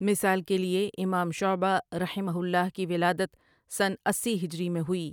مثال کے لیے امام شعبہ رحمہ اللہ کی ولادت سنہ اسی ہجری میں ہوئی ۔